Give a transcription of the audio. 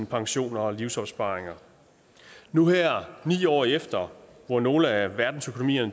pensioner og livsopsparinger nu her ni år efter hvor nogle af verdens økonomier